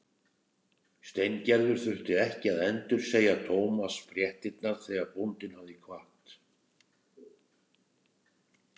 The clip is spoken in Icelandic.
Steingerður þurfti ekki að endursegja Thomas fréttirnar þegar bóndinn hafði kvatt.